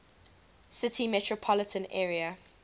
city metropolitan area